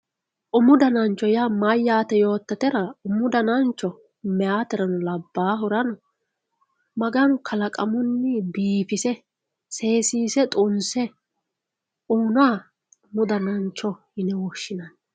Umu danancho yaa mayyate yoottatera ,umu danancho mayaaterano labbahurano Maganu kalaqamunni biifise seesise xunse uyinoha umu danancho yine woshshinanni.